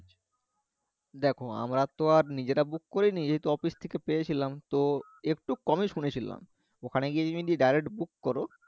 দেখো আমরা তো আর নিজেরা book করিনি যেহেতু office থেকে পেয়েছিলাম তো একটু কমে শুনেছিলাম ওখানে গিয়ে তুমি যদি direct, book করো